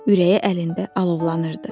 Ürəyi əlində alovlanırdı.